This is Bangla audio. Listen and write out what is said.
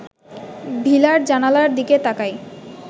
ভিলার জানালার দিকে তাকাই